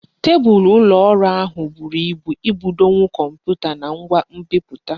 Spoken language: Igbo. Tebulu ụlọ ọrụ ahụ buru ibu ibudonwu Kọmputa na ngwa nbiputa